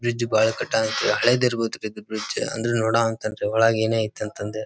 bridge ಬಹಳ ಕಟ್ಟಾಗುತ್ತೆ ಹಳೇದ್ ಇರಬಹುದು ಇದು ಬ್ರಿಡ್ಜ್ ನೋಡುವ ಅಂತ ಅಂದ್ರೆ ಒಳಗೆ ಏನೇ ಐತ್ ಅಂತಂದು--